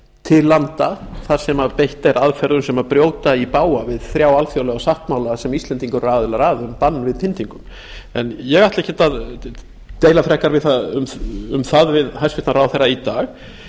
til landa þar sem beitt er aðferðum sem brjóta í bága við þrjá alþjóðlega sáttmála sem íslendingar eru aðilar að um bann við pyntingum en ég ætla ekkert að deila frekar um það við hæstvirtan ráðherra í dag